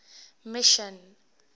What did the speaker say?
mission